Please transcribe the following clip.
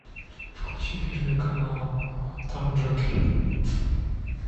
включи первый канал там джокер